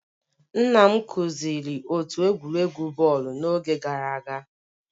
Nna m kụziri otu egwuregwu bọọlụ n'oge gara aga